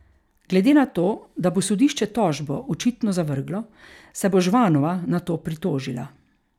Glede na to, da bo sodišče tožbo očitno zavrglo, se bo Žvanova na to pritožila.